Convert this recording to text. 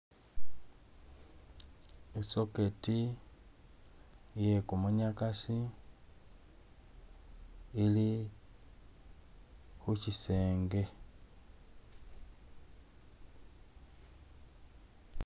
I socket iye gumunyagasi ili khuchisenge.